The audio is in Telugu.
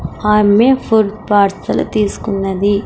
ఆమె ఫుడ్ పార్సెల్ తీసుకున్నది .